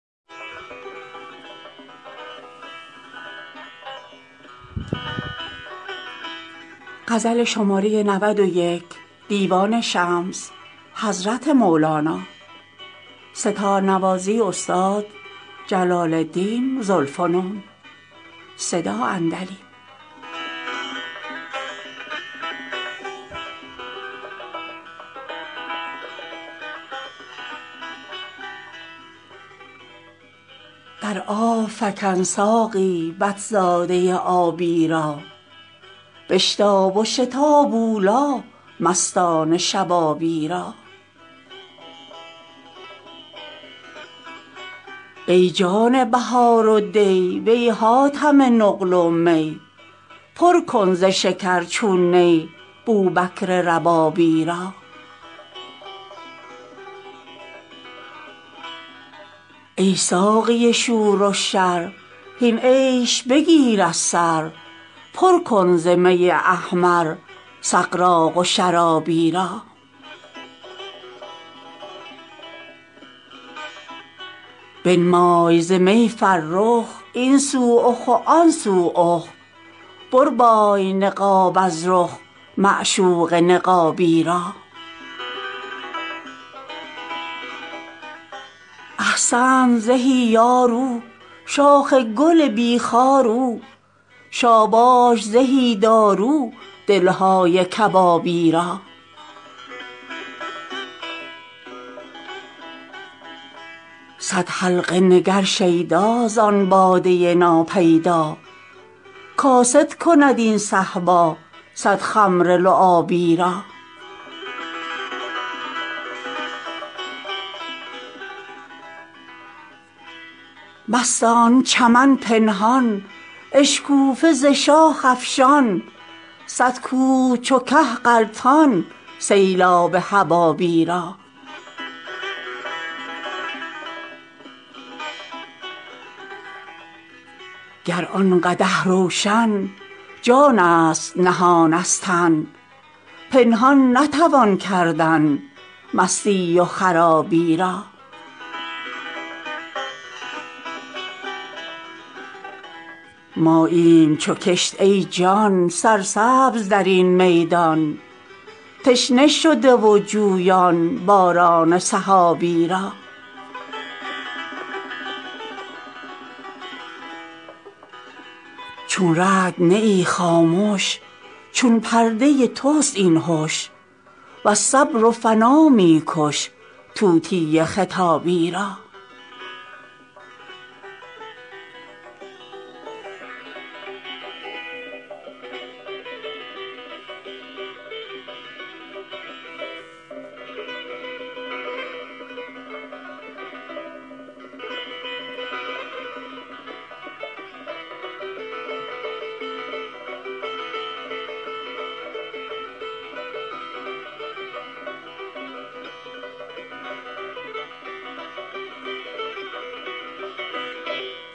در آب فکن ساقی بط زاده آبی را بشتاب و شتاب اولی مستان شبابی را ای جان بهار و دی وی حاتم نقل و می پر کن ز شکر چون نی بوبکر ربابی را ای ساقی شور و شر هین عیش بگیر از سر پر کن ز می احمر سغراق و شرابی را بنما ز می فرخ این سو اخ و آن سو اخ بربای نقاب از رخ معشوق نقابی را احسنت زهی یار او شاخ گل بی خار او شاباش زهی دارو دل های کبابی را صد حلقه نگر شیدا زان باده ناپیدا کاسد کند این صهبا صد خمر لعابی را مستان چمن پنهان اشکوفه ز شاخ افشان صد کوه چو که غلطان سیلاب حبابی را گر آن قدح روشن جانست نهان از تن پنهان نتوان کردن مستی و خرابی را ماییم چو کشت ای جان سرسبز در این میدان تشنه شده و جویان باران سحابی را چون رعد نه ای خامش چون پرده تست این هش وز صبر و فنا می کش طوطی خطابی را